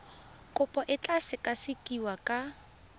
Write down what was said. kopo e tla sekasekiwa ka